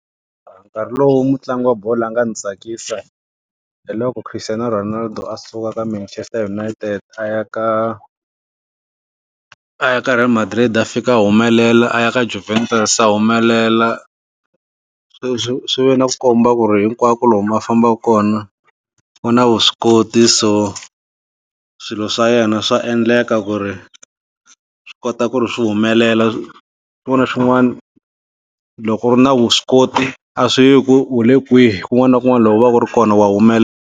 Hi nkarhi lowu mutlangi wa bolo a nga ni tsakisa hi loko Christiano Ronaldo a suka ka Manchester United a ya ka a ya ka Real Madrid a fika a humelela a ya ka Juventus a humelela, swi swi swi ve na ku komba ku ri hinkwako lomu a fambaka kona u na vuswikoti so swilo swa yena swa endleka ku ri swi kota ku ri swi humelela swin'wana na swin'wana loko u ri na vuswikoti a swi yi hi ku u le kwihi kun'wana na kun'wana la u va ka u ri kona wa humelela.